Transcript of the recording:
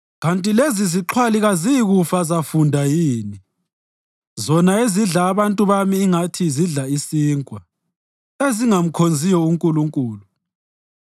Kanti lezizixhwali kaziyikufa zafunda yini? Zona ezidla abantu bami ingathi zidla isinkwa, ezingamkhonziyo uNkulunkulu.